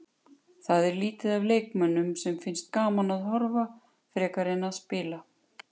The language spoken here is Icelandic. Það er lítið af leikmönnum sem finnst gaman að horfa frekar en að spila.